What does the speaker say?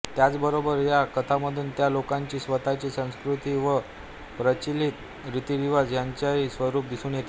त्याचबरोबर ह्या कथांमधून त्या लोकांची स्वतःची संस्कृती व प्रचलित रितीरिवाज ह्यांचेही स्वरूप दिसून येते